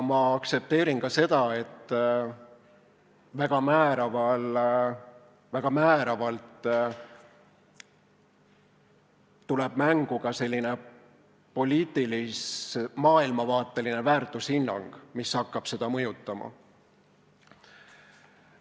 Ma aktsepteerin ka, et väga määravalt tuleb mängu poliitilis-maailmavaateline väärtushinnang, mis hakkab seda mõjutama.